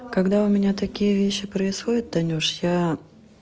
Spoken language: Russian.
когда у меня такие вещи происходят танюша я